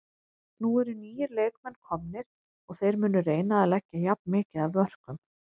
Nú eru nýir leikmenn komnir og þeir munu reyna að leggja jafn mikið af mörkum.